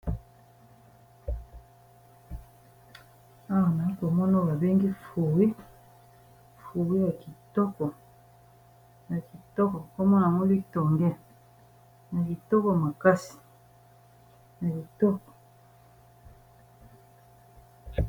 Awa nazalikomona ba bengi fruits ,fruits ya kitoko kombo na yango litonge ya kitoko makasi.